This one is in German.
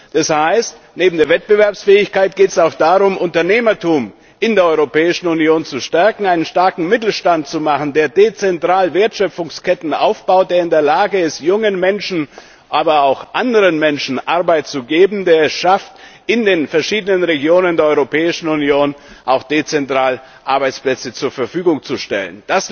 Das heißt, neben der Wettbewerbsfähigkeit geht es auch darum, das Unternehmertum in der Europäischen Union zu stärken, einen starken Mittelstand zu schaffen, der dezentral Wertschöpfungsketten aufbaut, der in der Lage ist, jungen Menschen, aber auch anderen Menschen Arbeit zu geben, der es schafft, in den verschiedenen Regionen der Europäischen Union auch dezentral Arbeitsplätze zur Verfügung zu stellen.